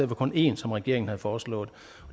for kun en som regeringen havde foreslået